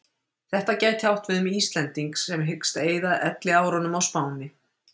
Þetta gæti átt við um Íslending sem hyggst eyða elliárunum á Spáni.